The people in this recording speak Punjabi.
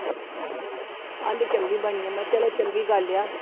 ਕਹਿੰਦੀ ਚੰਗੀ ਬਣੀ ਆਂ ਮੈਂ ਕਿਹਾ ਚਲੋ ਚੰਗੀ ਗੱਲ ਆ